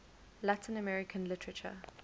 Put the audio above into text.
latin american literature